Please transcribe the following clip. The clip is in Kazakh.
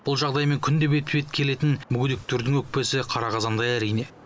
бұл жағдаймен күнде бетпе бет келетін мүгедектердің өкпесі қара қазандай әрине